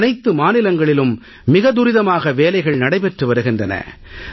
அனைத்து மாநிலங்களிலும் மிக துரிதமாக வேலைகள் நடைபெற்று வருகின்றன